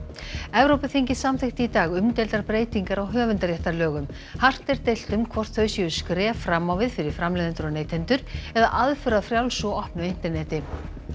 Evrópuþingið samþykkti í dag umdeildar breytingar á höfundarréttarlögum hart er deilt um hvort þau séu skref fram á við fyrir framleiðendur og neytendur eða aðför að frjálsu og opnu interneti